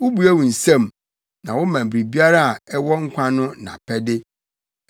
Wubue wo nsam, na woma biribiara a ɛwɔ nkwa no nʼapɛde.